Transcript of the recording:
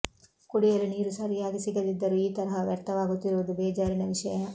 ಕುಡಿಯಲು ನೀರು ಸರಿಯಾಗಿ ಸಿಗದಿದ್ದರೂ ಈ ತರಹ ವ್ಯರ್ಥವಾಗುತ್ತಿರುವದು ಬೇಜಾರಿನ ವಿಷಯ